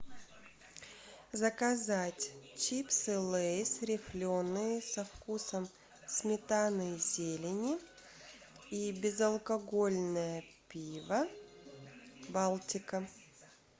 заказать чипсы лейс рифленые со вкусом сметаны и зелени и безалкогольное пиво балтика